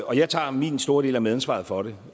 og jeg tager min store del af medansvaret for det